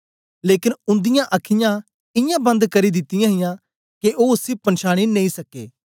लेकन उन्दिआं अखीयाँ इयां बन्द करी दिती हियां के ओ उसी पंछांनी नेई सके